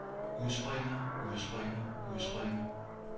udspringer udspringer udspringer